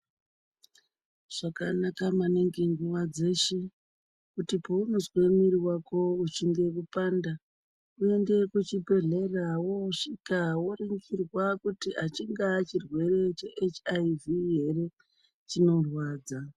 Zvakanaka maningi nguva dzeshe, kuti peunozwa mwiri wako uchinge kupanda uende kuchibhedhlera, wosvika woringirwa kuti achingaa chirwere cheHIV here chinorwadza.